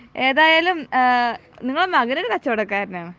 ഏതായാലും ഏഹ് നിങ്ങളുടെ മകനൊരു കച്ചവടക്കാരനാണ്